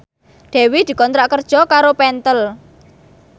Dewi dikontrak kerja karo Pentel